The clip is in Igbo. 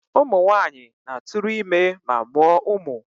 Ụmụ nwanyị na-atụrụ ime ma mụọ umu.